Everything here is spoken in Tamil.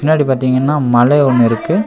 ன்னாடி பாத்தீங்கன்னா மலே ஒன்னு இருக்கு.